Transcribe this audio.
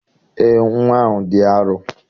Eé, nnwa ahụ dị arọ.